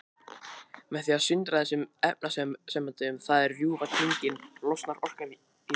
Með því að sundra þessum efnasamböndum, það er rjúfa tengin, losnar orkan í þeim.